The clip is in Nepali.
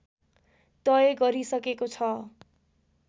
तय गरिसकेको छ